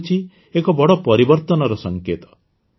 ଏ ହେଉଛି ଏକ ବଡ଼ ପରିବର୍ତ୍ତନର ସଂକେତ